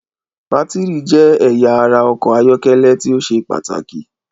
Bátírì jẹ́ ẹyà ara ọkọ̀ ayọ́kẹ́lẹ́ tí ó ṣe pàtàkì.